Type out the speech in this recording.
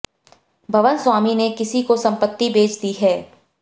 भवन स्वामी ने किसी को संपत्ति बेच दी है